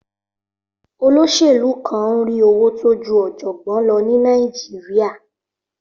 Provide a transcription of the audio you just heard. Olóṣèlú kan ń rí owó tó ju ọ̀jọ̀gbọ́n lọ ní Nàìjíríà.